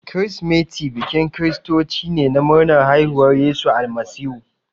Kirsimati bikin kiristoci ne na murnar haifuwar Yesu Almasihu.